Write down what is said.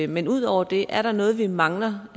men ud over det er der så noget vi mangler